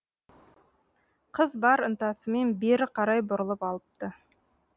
қыз бар ынтасымен бері қарай бұрылып алыпты